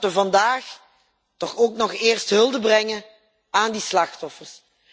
Laten we vandaag toch ook nog eerst hulde brengen aan die slachtoffers.